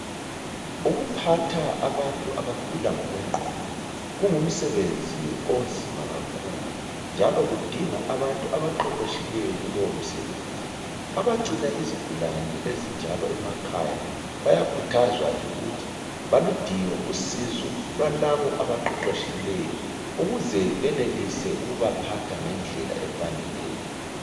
Ukuphatha abantu abagula ngokwengqondo kungumsebenzi onzima kakhulu njalo kudinga abantu abaqeqetshileyo kulowo msebenzi. Abagcina izigulane ezinjalo emakhaya bayakhuthazwa ke ukuthi baludinge usizo lwalabo abaqeqetshileyo ukuze benelise ukubaphatha ngendlela efaneleyo.